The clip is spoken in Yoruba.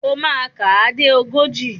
O máa kà á dé ogójì.